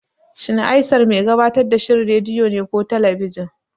Shin Aisar mai gabatar da shirin rediyo ne ko talabijin?